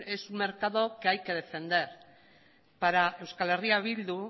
es un mercado que hay que defender para euskal herria bildu